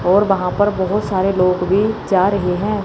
और वहां पर बहुत सारे लोग भी जा रहे हैं।